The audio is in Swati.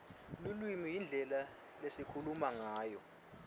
lulwimi yindlela lesikhuluma ngayo